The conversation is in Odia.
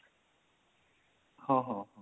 ହଁ ହଁ ହଁ